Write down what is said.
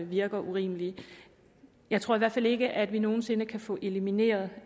virker urimelige jeg tror i hvert fald ikke at vi nogen sinde kan få elimineret